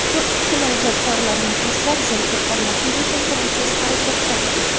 Turk kinoijodkorlari muxlislar zerikib qolmasligi uchun tinimsiz harakatda.